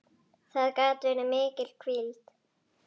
Það gat verið mikil hvíld.